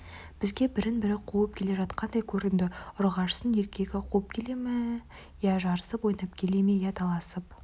бізге бірін-бірі қуып келе жатқандай көрінді ұрғашысын еркегі қуып келе ме я жарысып ойнап келе ме я таласып